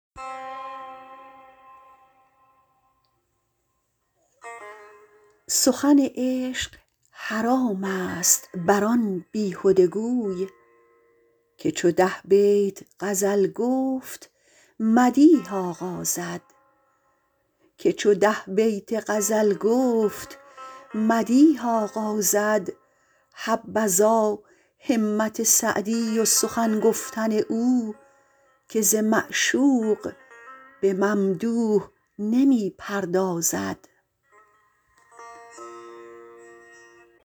سخن عشق حرامست بر آن بیهده گوی که چو ده بیت غزل گفت مدیح آغازد حبذا همت سعدی و سخن گفتن او که ز معشوق به ممدوح نمی پردازد